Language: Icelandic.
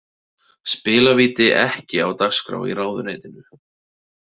Spilavíti ekki á dagskrá í ráðuneytinu